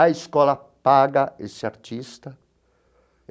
A escola paga esse artista.